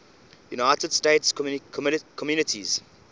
united states communities